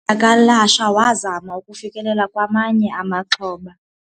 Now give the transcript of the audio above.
Udyakalashe wazama ukufikelela kwamanye amaxhoba.